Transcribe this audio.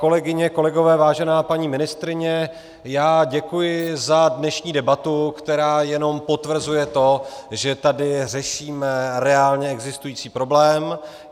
Kolegyně, kolegové, vážená paní ministryně, já děkuji za dnešní debatu, která jenom potvrzuje to, že tady řešíme reálně existující problém.